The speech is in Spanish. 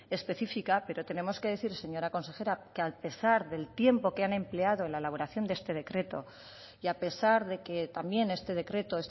específica pero tenemos que decir señora consejera que a pesar del tiempo que han empleado en la elaboración de este decreto y a pesar de que también este decreto